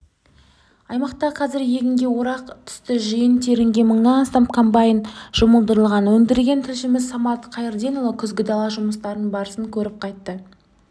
аймақта қазір егінге орақ түсті жиын-терінге мыңнан астам комбайн жұмылдырылған өңірдегі тілшіміз самат қайырденұлы күзгі дала жұмыстарының барысын көріп қайтты